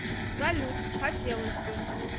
салют хотелось бы